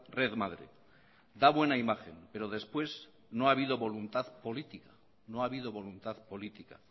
redmadre da buena imagen pero después no ha habido voluntad política